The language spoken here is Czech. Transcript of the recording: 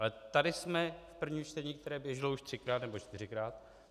Ale tady jsme v prvním čtení, které běželo už třikrát nebo čtyřikrát.